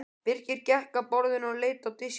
Birkir gekk að borðinu og leit á diskinn.